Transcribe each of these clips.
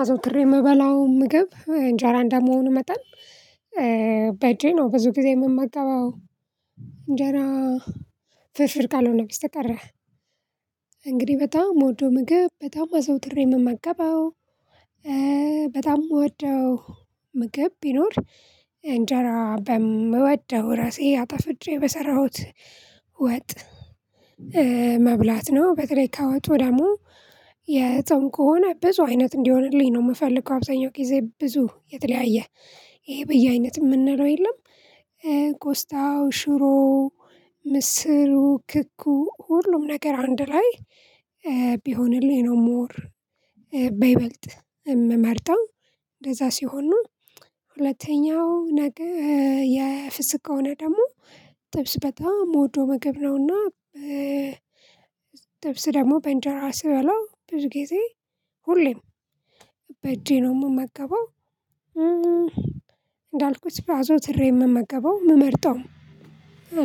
አዘውትሬ የምበላው ምግብ እንጀራ እንደመሆኑ መጠን በእጄ ነው ብዙ ጊዜ የምመገበው እንጀራ ፍርፍር ካልሆነ በስተቀር። እንግዲህ በጣም የምወደው ምግብ በጣም አዘውትሬ የምመገበው። በጣም የምወደው ምግብ ቢኖር እንጀራ በምወደው ራሴ አጣፍጬ በሰራሁት ወጥ መብላት ነው። በተለይ ከወጡ ደግሞ የጾም ከሆነ ብዙ አይነት እንዲሆንልኝ ነው የምፈልገው አብዛኛው ጊዜ ብዙ የተለያየ ይሄ በየአይነት የምንለው የለም። ቆስጣው ሽሮው ምስሩ ክኩ ሁሉም ነገር አንድ ላይ ቢሆንልኝ ነው። ሞር በይበልጥ የምመርጠው እንደዛ ሲሆን ነው። ሁለተኛው ነገር የፍስክ ከሆነ ደግሞ ጥብስ በጣም የምወደው ምግብ ነውና። ጥብስ ደግሞ በእንጀራ ስበላው ብዙ ጊዜ ሁሌም በእጄ ነው የምመገበው። እንዳልኩት አዘው ትሬ የምመገበው የምመርጠው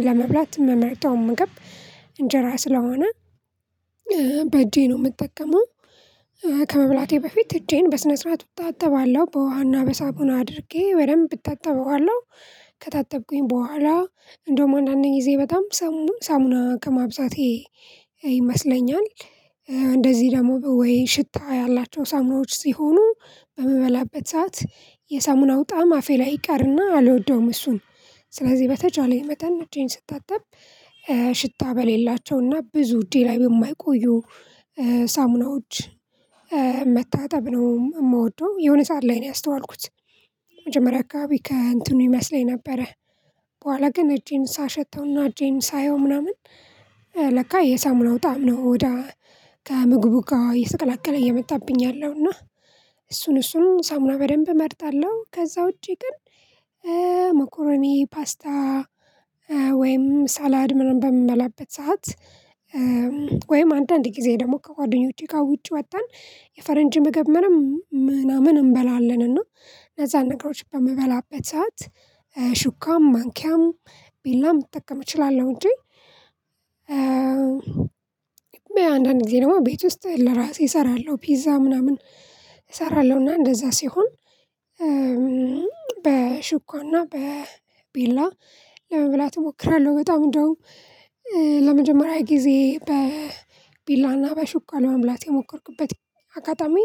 ለመብላት የምመርጠው ምግብ እንጀራ ስለሆነ በእጄ ነው የምጠቀመው። ከመብላቴ በፊት እጄን በስነ ስርዓት እታጠባለሁ በውሃና በሳሙና አድርጌ ደንብ እታጠበዋለሁ። ከታጠብኩኝ በኋላ እንደውም አንዳ አንድ ጊዜ በጣም ሳሙና ከማብዛቴ ይመስለኛል እንደዚህ ደግሞ ወይ ሽታ ያላቸው ሳሙናዎች ሲሆኑ በምበላበት ሰዓት የሳሙናው ጣዕም አፌ ላይ ይቀርና አልወደውም። እሱን ስለዚህ በተቻለ መጠን እጀን ስታጠብ ሽታ በሌላቸውና ብዙ እጀ ላይ በማይቆዩ ሳሙናዎች መታጠብ ነው የምወደው። የሆነ ሰዓት ላይ ነው ያስተዋልኩት። መጀመሪያ አካባቢ ከእንትኑ ይመስለኝ ነበረ በኋላ ግን እጄን ሳሸተውና እጄን ሳየው ምናምን ለካ የሳሙናው ጣዕም ነው ወደ ከምግቡ ጋር እየተቀላቀለ እየመጣብኝ ያለው እና። እሱን እሱን ሳሙና በደንብ እመርጣለሁ። ከዛ ውጪ ግን መኮረኒ ፓስታ ወይም ሳላድ ምናምን በምበላበት ሰዓት። ወይም አንዳንድ ጊዜ ደግሞ ከጓደኞቼ ጋር ውጪ ወተን የፈረንጅ ምግብ ምንም ምናምን እንበላለን እና እነዛን ነገሮች በምበላበት ሰዓት ሹካም ማንኪያም ቢላም እጠቀም እችላለሁ እንጂ። አንዳንድ ጊዜ ደሞ ቤት ውስጥ ለራሴ እሰራለሁ ፒዛ ምናምን እሰራለሁና እንደዛ ሲሆን በሹካና በቢላ ለመብላት እሞክራለሁ። በጣም እንደውም ለመጀመሪያ ጊዜ በቢላና በሹካ ለመብላት የሞከርኩበት አጋጣሚ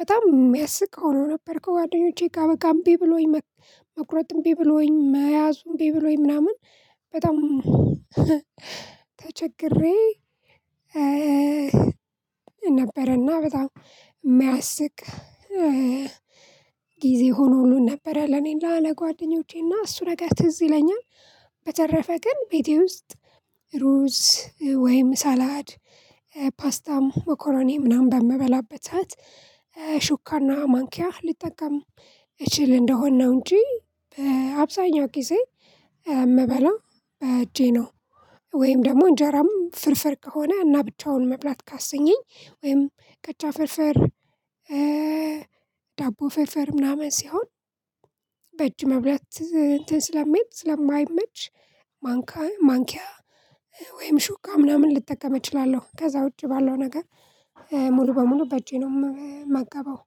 በጣም የሚያስቅ ሆኖ ነበር። ከጓደኞቼ ጋር በቃ እምቢ ብሎኝ መቁረጥም እምቢ ብሎኝ መያዙ እምቢ ብሎኝ ምናምን በጣም ተቸግሬ። ነበረና በጣም የሚያስቅ ጊዜ ሆኖ ሁሉን ነበረ ለኔ ላለ ጓደኞቼና እሱ ነገር ትዝ ይለኛል። በተረፈ ግን ቤቴ ውስጥ ሩዝ ወይም ሳላድ ፓስታም መኮረኔ ምናምን በምበላበት ሹካና ማንኪያ ልጠቀም። እችል እንደሆነ ነው እንጂ በአብዛኛው ጊዜ የምበላው በእጄ ነው። ወይም ደግሞ እንጀራም ፍርፍር ከሆነ እና ብቻውን መብላት ካሰኘኝ ወይም ቀጫ ፍርፍር ዳቦ ፍርፍር ምናምን ሲሆን በእጅ መብላት እንትን ስለሚል ስለማይመች። ማንካ ማንኪያ ወይም ሹካ ምናምን ልጠቀም እችላለሁ ከዛ ውጪ ባለው ነገር ሙሉ በሙሉ በእጄ ነው የምመገበው